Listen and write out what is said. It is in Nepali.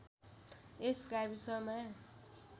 यस गाविसमा